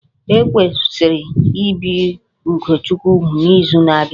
E kwesịrị ibi Ugochukwu úgwù n'izu na-abịa